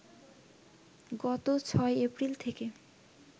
গত ৬ এপ্রিল থেকে